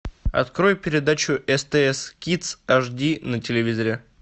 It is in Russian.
открой передачу стс кидс аш ди на телевизоре